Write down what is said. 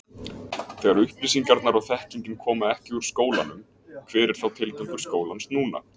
Þegar upplýsingarnar og þekkingin koma ekki úr skólanum hver er þá tilgangur skólans núna?